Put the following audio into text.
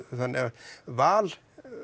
þannig að val